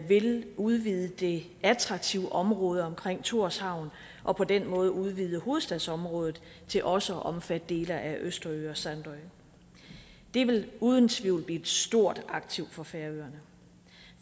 vil udvide det attraktive område omkring thorshavn og på den måde udvide hovedstadsområdet til også at omfatte dele af østerø og sandø det vil uden tvivl blive et stort aktiv for færøerne